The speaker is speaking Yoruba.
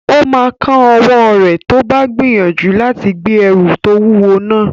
Ó máa kán ọwọ́ rẹ̀ tó bá gbìyànjú láti gbé ẹrù tó wúwo náà